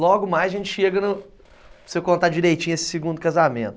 Logo mais a gente chega no... Se eu contar direitinho esse segundo casamento.